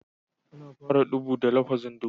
Ana fara ɗubu da lafazin (dubu)